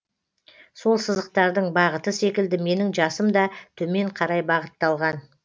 сол сызықтардың бағыты секілді менің жасым да төмен қарай бағытталған